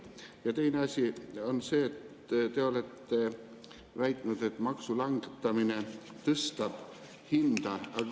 Ja teine asi on see, et te olete väitnud, et maksu langetamine tõstab hinda.